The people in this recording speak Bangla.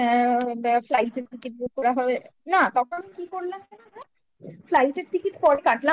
flight এর ticket book করা হয়ে গেছে না তখন কি করলাম বলতো flight ticket র পরে কাটলাম পরে hotel book করে ফেলেছিলাম